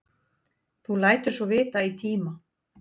Þú lætur svo vita í tíma.